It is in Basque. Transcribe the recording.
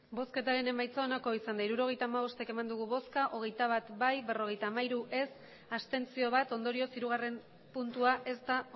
emandako botoak hirurogeita hamabost bai hogeita bat ez berrogeita hamairu abstentzioak bat ondorioz hirugarrena puntua ez da